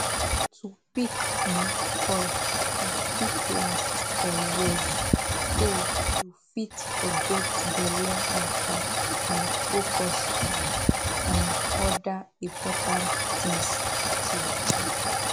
to pick um coil e fit last for years so you fit forget belle matter and focus um on other important tins true true